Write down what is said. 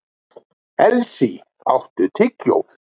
Elsý, áttu tyggjó?